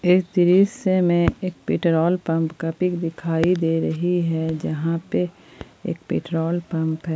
इस दृश्य में एक पेट्रोल पंप का पिक दिखाई दे रही है जहां पे एक पेट्रोल पंप है।